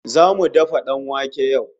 Zamu dafa danwake yau